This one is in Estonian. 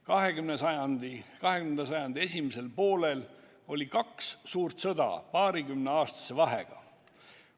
20. sajandi esimesel poolel oli kaks suurt sõda paarikümneaastase vahega.